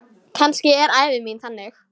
Kannski er ævi mín þannig.